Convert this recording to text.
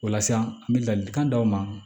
O la sisan an bɛ ladilikan d'aw ma